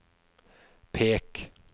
pek